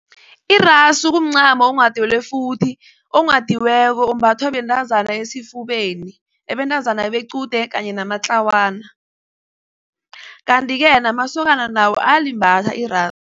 Irasu kumncamo onghadelwefuthi. Onghadiweko umbathwa bentazana esifubeni, abentazana bequde kanye namatlawana. Kanti-ke namasokana nawo ayalimbatha irasu.